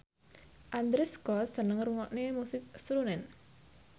Andrew Scott seneng ngrungokne musik srunen